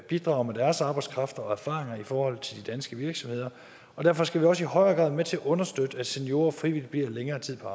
bidrager med deres arbejdskraft og erfaringer i forhold til de danske virksomheder og derfor skal vi også i højere grad være med til at understøtte at seniorer frivilligt bliver længere tid på